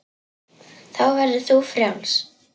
Þá verður þú frjáls.